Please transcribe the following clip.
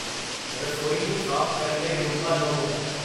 ਰਸੋਈ ਨੂੰ ਸਾਫ਼ ਕਰਨ ਲਈ ਰੂਮਬਾ ਲਵੋ